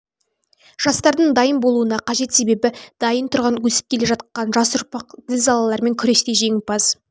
жастардың дайын болуына қажет себебі дайын тұрған өсіп келе жатқан жас ұрпақ зілзалалармен күресте женімпаз